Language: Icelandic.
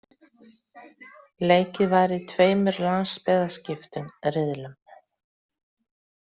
Leikið var í tveimur landsbyggðarskiptum riðlum.